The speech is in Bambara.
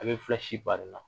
A bɛ bari i la